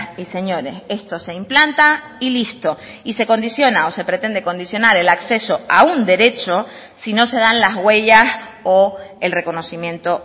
y señores esto se implanta y listo y se condiciona o se pretende condicionar el acceso a un derecho si no se dan las huellas o el reconocimiento